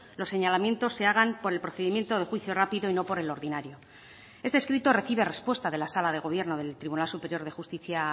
los señalamientos se hagan por el procedimiento de juicio rápido y no por el ordinario este escrito recibe respuesta de la sala de gobierno del tribunal superior de justicia